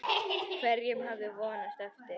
Hverjum hafði hún vonast eftir?